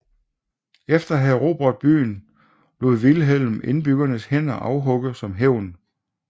Efter at have erobret byen lod Vilhelm indbyggernes hænder afhugge som hævn